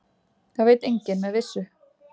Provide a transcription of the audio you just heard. Það veit enginn með vissu.